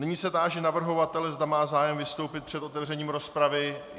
Nyní se táži navrhovatele, zda má zájem vystoupit před otevřením rozpravy.